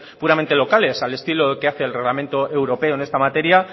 puramente locales al estilo de lo que hace el reglamento europeo en esta materia